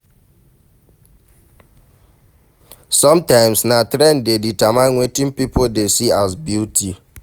sometimes na trend dey determine wetin pipo dey see as beauty